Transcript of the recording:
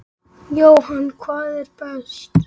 Jóhann: hvað er best?